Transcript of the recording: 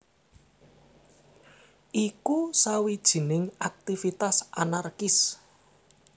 Iku sawijining aktivitas anarkis